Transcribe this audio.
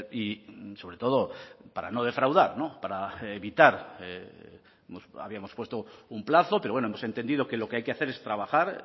y sobre todo para no defraudar para evitar habíamos puesto un plazo pero bueno hemos entendido que lo que hay que hacer es trabajar